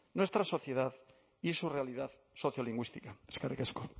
nuestra sociedad y su realidad sociolingüística eskerrik asko